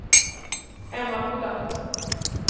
Emmaboda